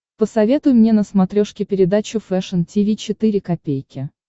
посоветуй мне на смотрешке передачу фэшн ти ви четыре ка